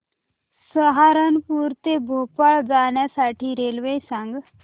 सहारनपुर ते भोपाळ जाण्यासाठी रेल्वे सांग